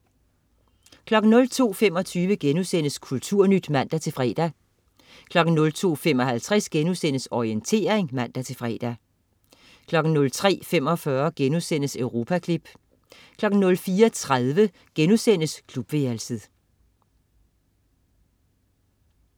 02.25 Kulturnyt* (man-fre) 02.55 Orientering* (man-fre) 03.45 Europaklip* 04.30 Klubværelset*